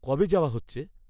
কবে যাওয়া হচ্ছে?